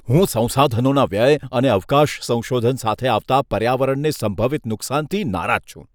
હું સંસાધનોના વ્યય અને અવકાશ સંશોધન સાથે આવતા પર્યાવરણને સંભવિત નુકસાનથી નારાજ છું.